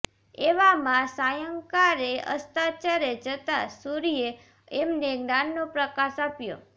એવામાં સાયંકાળે અસ્તાચળે જતા સૂર્યે એમને જ્ઞાનનો પ્રકાશ આપ્યો